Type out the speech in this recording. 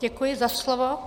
Děkuji za slovo.